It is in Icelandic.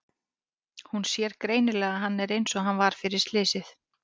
Hún sér greinilega að hann er einsog hann var fyrir slysið.